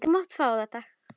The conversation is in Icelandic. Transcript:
Þú mátt fá þetta.